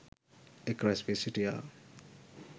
එක් රැස් වී සිිටියා.